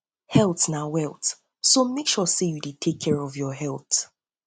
health na health na wealth so mek sure say yu dey take care of your health